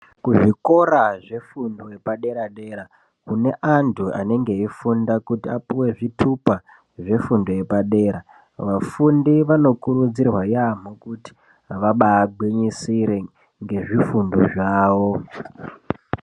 Kuzvikora zvefundo yepadera-dera kune antu anenge eifunda kuti apuve zvitupa zvefundo yepadera. Vafundi vanokurudzirwa yaamho kuti vabagwinyisire ngezvifundo zvavo.